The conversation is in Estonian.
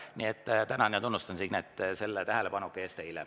Nii et tänan ja tunnustan Signet selle tähelepaneku eest.